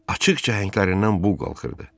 Açıq cahənglərdən buğ qalxırdı.